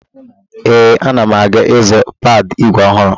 Ee, ana m aga ịzụ pedalụ ígwè ọhụrụ.